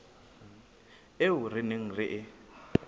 eo re neng re e